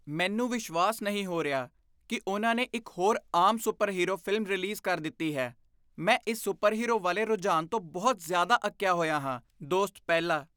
ਮੈਨੂੰ ਵਿਸ਼ਵਾਸ ਨਹੀਂ ਹੋ ਰਿਹਾ ਕੀ ਉਨ੍ਹਾਂ ਨੇ ਇੱਕ ਹੋਰ ਆਮ ਸੁਪਰਹੀਰੋ ਫ਼ਿਲਮ ਰਿਲੀਜ਼ ਕਰ ਦਿੱਤੀ ਹੈ ਮੈਂ ਇਸ ਸੁਪਰਹੀਰੋ ਵਾਲੇ ਰੁਝਾਨ ਤੋਂ ਬਹੁਤ ਜ਼ਿਆਦਾ ਅੱਕੀਆ ਹੋਇਆ ਹਾਂ ਦੋਸਤ ਪਹਿਲਾ